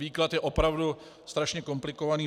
Výklad je opravdu strašně komplikovaný.